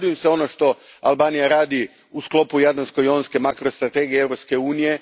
Radujem se onom što Albanija radi u sklopu jadransko jonske makrostrategije Europske unije.